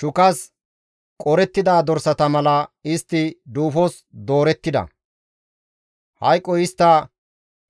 Shukas qorettida dorsata mala istti duufos doorettida; hayqoy istta